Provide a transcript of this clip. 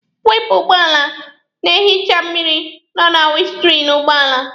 Waipa ụgbọala na-ehicha mmịrị nọ na winiskriini ụgbọala.